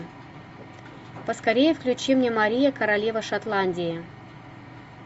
поскорее включи мне мария королева шотландии